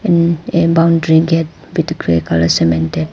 And a boundary gate with grey colour cemented.